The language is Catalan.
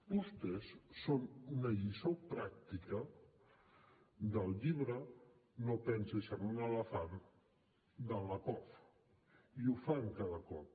vostès són una lliçó pràctica del llibre no pensis en un elefant del lakoff i ho fan cada cop